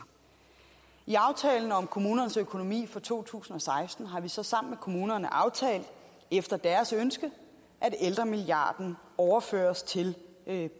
i aftalen om kommunernes økonomi for to tusind og seksten har vi så sammen med kommunerne aftalt efter deres ønske at ældremilliarden overføres til